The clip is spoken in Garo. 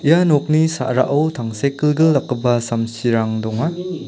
ia nokni sa·rao tangsekgilgil dakgipa samsirang donga.